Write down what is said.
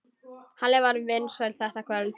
Halli var vinsæll þetta kvöld.